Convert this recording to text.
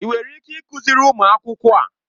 Ị nwere ike ịkụziri ụmụ akwụkwọ a?